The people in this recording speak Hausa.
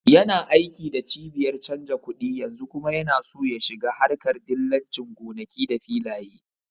Yana aiki da cibiyar canja kuɗi yanzu kuma yana so ya shiga harƙar dillancin gonaki da filaye